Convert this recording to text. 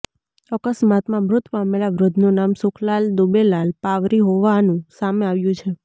અકસ્માતમાં મૃત પામેલા વૃદ્ધનું નામ સુખલાલ દુબેલાલ પાવરી હોવાનું સામે આવ્યું છે